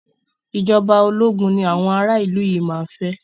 Ìjọba ológun ni àwọn ara ìlú yìí máa fẹ́.